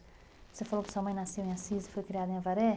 Você falou que sua mãe nasceu em Assis e foi criada em Avaré?